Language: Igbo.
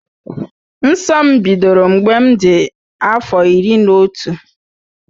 Nsọ m bidoro mgbe m dị afọ iri na otu.